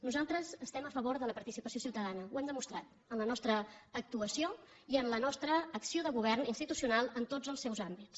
nosaltres estem a favor de la participació ciutadana ho hem demostrat en la nostra actuació i en la nostra acció de govern institucional en tots els seus àmbits